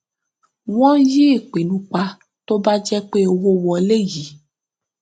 wọn yí ipinnu pa tó bá jẹ pé owó wọlé yí